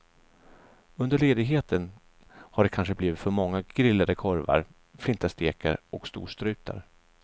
Under ledigheten har det kanske blivit för många grillade korvar, flintastekar och storstrutar.